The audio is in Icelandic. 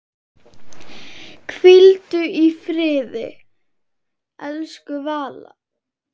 Hvíldu í friði, elsku Valla.